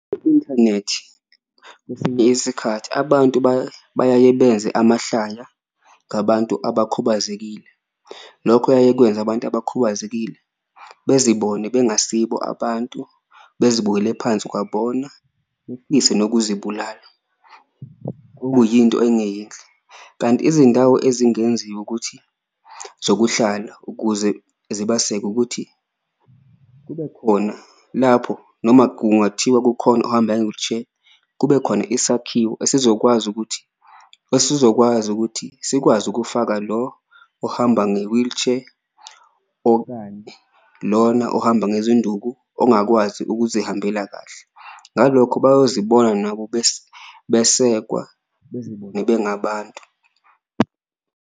Kwesinye isikhathi abantu bayaye benze amahlaya ngabantu abakhubazekile, lokho kuyaye kwenze abantu abakhubazekile bezibone bengasikho abantu bezibukele phansi kwabona befise nokuzibulala okuyinto engeyinhle. Kanti izindawo ezingenziwa ukuthi zokuhlala ukuze zibaseke ukuthi kube khona lapho, noma kungathiwa kukhona ohamba nge-wheelchair, kube khona isakhiwo esizokwazi ukuthi esizokwazi ukuthi sikwazi ukufaka lo ohamba nge-wheelchair. Okanye lona ohamba ngezinduku ongakwazi ukuzihambela kahle ngalokho bayozibona nabo besekwa, bezibone bengabantu.